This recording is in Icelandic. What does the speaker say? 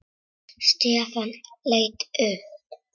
Stefán leit upp.